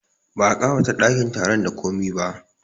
Ba a ƙawata ɗakin taron da komi ba